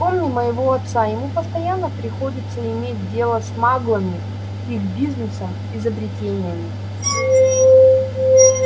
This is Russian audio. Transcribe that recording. вспомни моего отца ему постоянно приходится иметь дело с маглами их бизнесом изобретениями